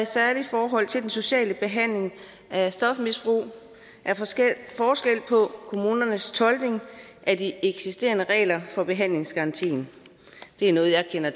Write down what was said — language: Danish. særlig i forhold til den sociale behandling af stofmisbrug er forskel på kommunernes tolkning af de eksisterende regler for behandlingsgarantien det er noget jeg kender